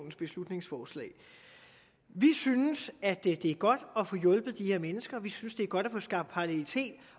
beslutningsforslag vi synes at det er godt at få hjulpet de her mennesker vi synes det er godt at få skabt parallelitet